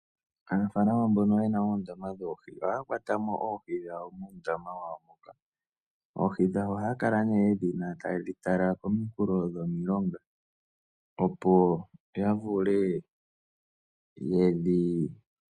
Aanafalama mbono ye na oondama dhoohi ohaya kwata mo oohi dhawo muundama wawo moka. Oohi dhawo ohaya kala nee ye dhi na taye dhi tala kominkulo dhomilonga.